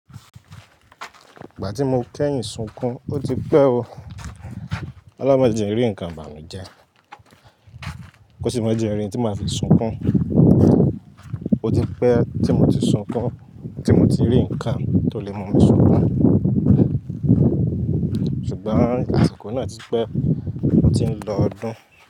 Ìgbà tí mo kẹ́yìn sunkún, ó ti pẹ́ o. O'loun maa jẹ ri nǹkan ibànùjẹ, kó sì máa jẹ n rì tí màá fi sunkún. Ó ti pẹ́ tí mo ti sunkún, tí mo ti rí ǹkan tó lè mú mi sunkún. Ṣùgbọ́n asiko náà ti pẹ́, ó ti ń lọ ọdún.